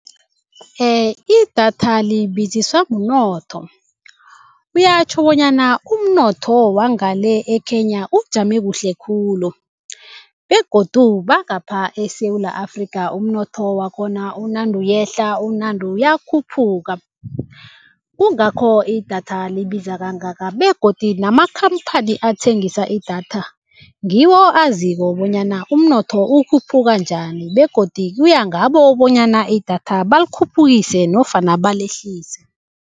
Idatha libiziswa mnotho kuyatjho bonyana umnotho owangale e-Kenya ukujama kuhle khulu begodu bangapha eSewula Afrika umnotho wakhona unande uyehla unande uyakhuphuka. Kungakho idatha libiza kangaka begodu namakhamphani athengisa idatha ngiwo aziko bonyana umnotho ukhuphuka njani begodu kuyangabo bonyana idatha balikhuphukise nofana balehlise.